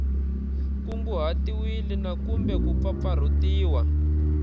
kunguhatiwile na kumbe ku pfapfarhutiwa